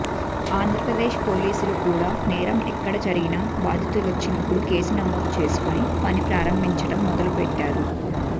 ఆంధ్రప్రదేశ్ పోలీసులు కూడా నేరం ఎక్కడ జరిగినా బాధితులొచ్చినప్పుడు కేసు నమోదు చేసుకుని పని ప్రారంభించడం మొదలుపెట్టారు